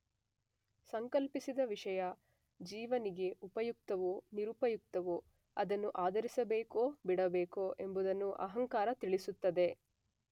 ಸಂಕಲ್ಪಿಸಿದ ವಿಷಯ ಜೀವನಿಗೆ ಉಪಯುಕ್ತವೋ ನಿರುಪಯುಕ್ತವೋ ಅದನ್ನು ಆದರಿಸಬೇಕೋ ಬಿಡಬೇಕೋ ಎಂಬುದನ್ನು ಅಹಂಕಾರ ತಿಳಿಸುತ್ತದೆ.